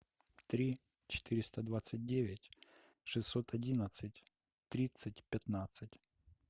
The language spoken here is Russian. три четыреста двадцать девять шестьсот одинадцать тридцать пятнадцать